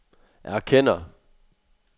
erkender